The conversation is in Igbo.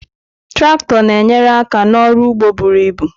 Traktọ na-enyere aka n'ọrụ ugbo buru ibu.